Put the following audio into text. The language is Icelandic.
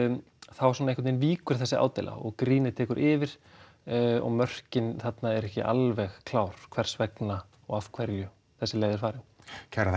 þá svona einhvern víkur þessi ádeila og grínið tekur yfir og mörkin þarna eru ekki alveg klár hvers vegna og af hverju þessi leið er farin kærar